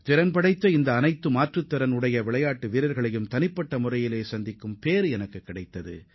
திறமைமிக்க இந்த தடகள வீரர்கள் அனைவரையும் தனித்தனியாக சந்திக்கும் நல்வாய்ப்பும் எனக்கு கிடைத்தது